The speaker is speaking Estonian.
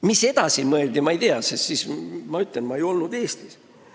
Mis edasi mõeldi, ma ei tea, sest, nagu ma ütlesin, ma ei olnud siis Eestis.